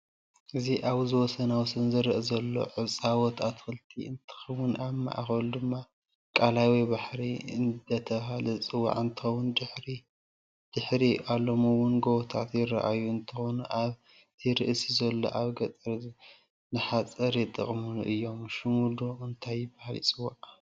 አዚ ኣብ ወሰናወሰን ዝርአ ዘሎ ዕፃወት ኣትክልቲ እንትከውንኣብ ማእከሉ ደማ ቃላይ ወይ በህሪ እደተበሃለ ዝፅዋዕ እንትከውን ድሕሪ አሎም እውን ጎቦታት ይርኣዩና እንትከኑ ኣብ ቲ ርእስኡ ዘሎ ኣብ ገጠር ንሓፀር ይጥቀምሉ እዮም ሽሙ መን እዳተባሃለ ይፅዋዕ?